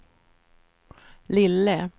lille